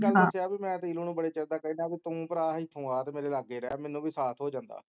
ਮੈਂ ਨੀਲੂ ਨੂੰ ਬੜੇ ਚਿਰ ਦਾ ਕਹਿਨਾ ਹਾਂ ਕਿ ਤੂੰ ਭਰਾ ਇਥੋਂ ਆ ਤੇ ਮੇਰੇ ਲਾਗੇ ਰਹਿ ਮੇਨੂ ਵੀ ਸਾਥ ਹੋ ਜਾਂਦੈ